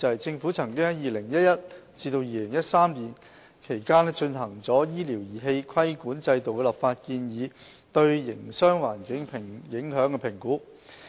政府曾於2011年至2013年期間進行了醫療儀器規管制度的立法建議對營商環境的影響評估。